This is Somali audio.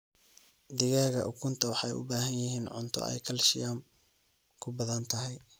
Digaaga ukunta waxay u baahan yihiin cunto aay kaalshiyam kubadhan tahay.